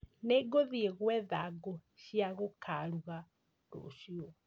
Nĩ ngũthiĩ gwetha ngũ cia gũkaruga rũciũ